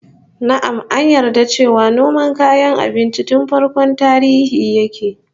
Na'am, an yarda cewa noma kayan abinci tun farkon tarihi yake